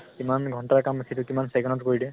কিমান ঘন্টাৰ কাম সেইটো কিমান second ত কৰি দিয়ে।